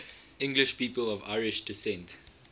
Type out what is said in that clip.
english people of irish descent